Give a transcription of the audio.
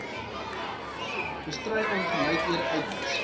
bestry ongelykhede uitwis